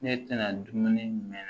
Ne tɛna dumuni minɛ